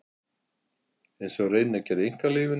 Einsog hann reyni að gera í einkalífinu.